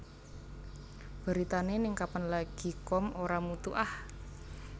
Beritane ning kapanlagi com ora mutu ah